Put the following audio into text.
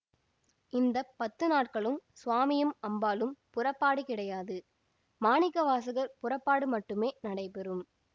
இந்த பத்து நாட்களும் சுவாமியும் அம்பாளும் புறப்பாடு கிடையாது மாணிக்கவாசகர் புறப்பாடு மட்டுமே நடைபெறும்